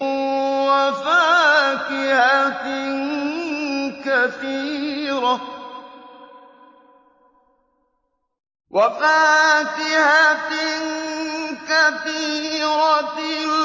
وَفَاكِهَةٍ كَثِيرَةٍ